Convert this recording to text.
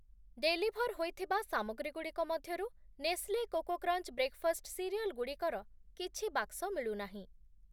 Deliver ହୋଇଥିବା ସାମଗ୍ରୀଗୁଡ଼ିକ ମଧ୍ୟରୁ Nestle Koko Krunch breakfast cereal ଗୁଡ଼ିକର କିଛି ବାକ୍ସ ମିଳୁନାହିଁ ।